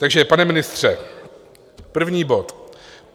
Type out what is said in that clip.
Takže pane ministře, první bod.